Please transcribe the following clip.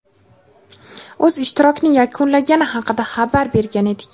o‘z ishtirokini yakunlagani haqida xabar bergan edik.